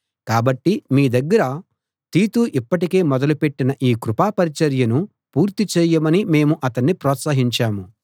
కాబట్టి మీ దగ్గర తీతు ఇప్పటికే మొదలు పెట్టిన ఈ కృపా పరిచర్యను పూర్తి చేయమని మేము అతన్ని ప్రోత్సహించాము